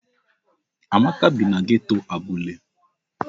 Amaka bi na geto Abule.